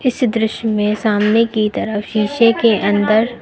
इस दृश्य में सामने की तरफ शीशे के अंदर--